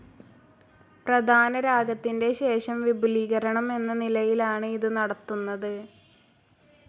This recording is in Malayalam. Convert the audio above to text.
പ്രധാനരാഗത്തിന്റെ ശേഷം വിപുലീകരണം എന്ന നിലയിലാണ് ഇത് നടത്തുന്നത്.